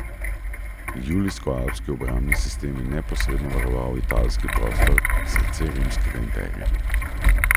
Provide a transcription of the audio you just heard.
Julijskoalpski obrambni sistem je neposredno varoval italski prostor, srce rimskega imperija.